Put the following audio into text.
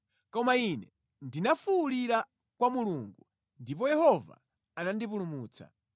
Koma ine ndinafuwulira kwa Mulungu, ndipo Yehova anandipulumutsa.